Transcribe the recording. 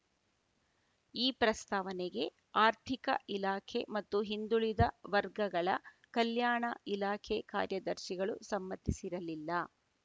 ಈ ಪ್ರಸ್ತಾವನೆಗೆ ಆರ್ಥಿಕ ಇಲಾಖೆ ಮತ್ತು ಹಿಂದುಳಿದ ವರ್ಗಗಳ ಕಲ್ಯಾಣ ಇಲಾಖೆ ಕಾರ್ಯದರ್ಶಿಗಳು ಸಮ್ಮತಿಸಿರಲಿಲ್ಲ